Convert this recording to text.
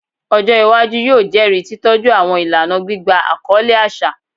Ọjọ iwaju yoo jẹri titọju awọn ilana gbigba akọle aṣa